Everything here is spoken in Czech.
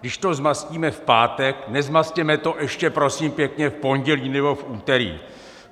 Když to zmastíme v pátek, nezmastěme to ještě prosím pěkně v pondělí nebo v úterý.